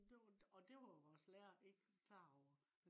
og det var vores lærer ikke klar over